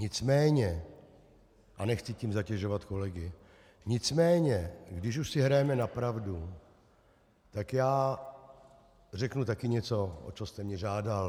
Nicméně, a nechci tím zatěžovat kolegy, nicméně když už si hrajeme na pravdu, tak řeknu taky něco, o co jste mě žádal.